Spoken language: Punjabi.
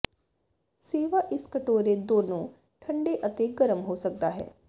ਸੇਵਾ ਇਸ ਕਟੋਰੇ ਦੋਨੋ ਠੰਡੇ ਅਤੇ ਗਰਮ ਹੋ ਸਕਦਾ ਹੈ